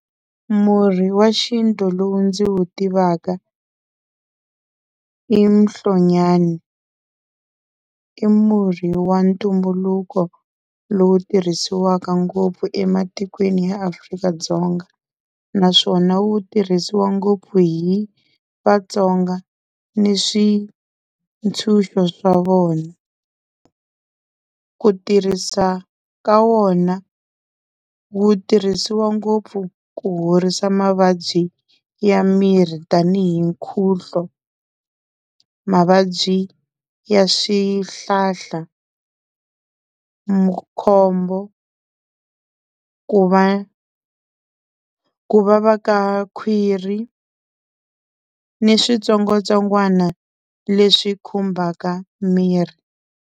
Murhi wa xintu lowu ndzi wu tivaka i muhlonyani i murhi wa ntumbuluko lowu tirhisiwaka ngopfu ematikweni ya Afrika-Dzonga naswona wu tirhisiwa ngopfu hi Vatsonga ni switshunxo swa vona. Ku tirhisa ka wona wu tirhisiwa ngopfu ku horisa mavabyi ya miri tanihi nkhuhlo, mavabyi ya swihlahla, makhombo ku va ku vava ka khwiri ni switsongwatsongwana leswi khumbaka miri.